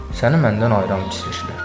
Səni məndən ayıran pisliklər.